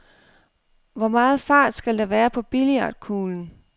Hvor meget fart skal der være på billiardkuglen?